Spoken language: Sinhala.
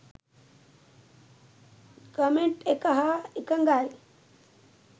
කමෙන්ට් එක හා එකඟයි.